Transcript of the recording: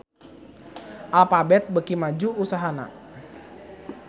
Alphabet beuki maju usahana